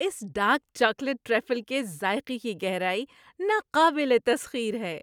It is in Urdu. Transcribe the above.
اس ڈارک چاکلیٹ ٹرفل کے ذائقے کی گہرائی ناقابل تسخیر ہے۔